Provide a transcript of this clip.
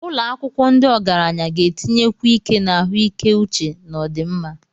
Ụlọ akwụkwọ ndị ogaranya ga-etinyekwu ike na ahụike uche na ọdịmma.